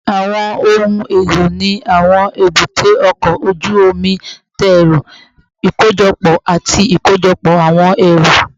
Awọn ohun elo ni awọn ebute oko oju omi dẹrọ ikojọpọ ati ikojọpọ awọn ẹru